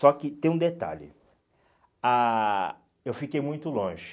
Só que tem um detalhe, ah eu fiquei muito longe.